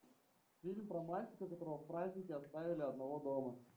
фильм про мальчика которого в праздники оставили одного дома